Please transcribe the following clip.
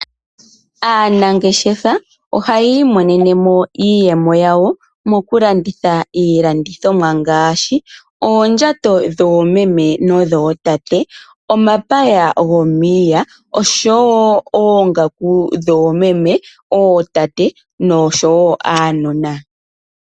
Aanangeshefa ohaya imonene mo iiyemo yawo mokulanditha iilandithomwa ngaashi, oondjato dhoomeme nodhootate, omapaya gomiiya, osho wo oongaku dhoomeme, ootate nosho wo uunona.